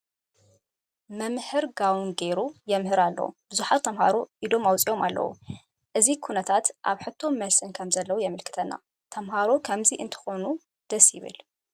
መምህር ጋቦን ገይሩ የምህር ኣሎ፡፡ ብዙሓት ተመሃሮ ኢዶም ኣውፂኦም ኣለዉ፡፡ እዚ ኩነታ ኣብ ሕቶን መልስን ከምዘለዉ የምልክተና፡፡ ተመሃሬ ከምዚ እንትኾኑ ደስ ይብል፡፡